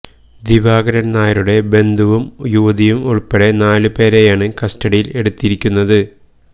ദിവാകരൻ നായരുടെ ബന്ധുവും യുവതിയും ഉൾപ്പെടെ നാല് പേരെയാണ് കസ്റ്റഡിയിൽ എടുത്തിരിക്കുന്നത്